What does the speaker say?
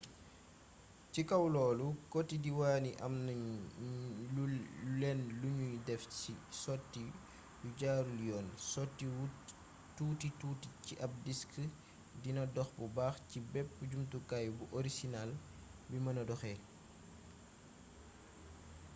ci kaw loolu koti diiwaan yi amu ñu lenn luñuy def ci sotti yu jaarul yoon sotti wu tuuti-tuuti ci ab disk dina dox bu baax ci bépp jumtukaay bu orosinaal bi mëna doxee